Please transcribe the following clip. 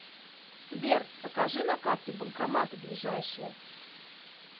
сбер покажи на карте банкоматы ближайшие